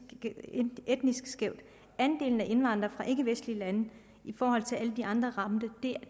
skævt andelen af indvandrere fra ikkevestlige lande i forhold til næsten alle de andre ramte